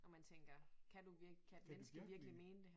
Og man tænker kan du virkelig kan et menneske virkelig mene det her